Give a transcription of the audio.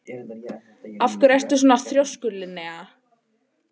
Af hverju ertu svona þrjóskur, Linnea?